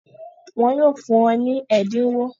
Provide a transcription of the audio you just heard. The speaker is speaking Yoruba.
Wọ́n yóò fún ọ ní ẹ̀dínwó?